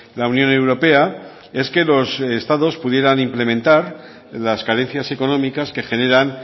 la unión europea es que los estados pudieran implementar las carencias económicas que generan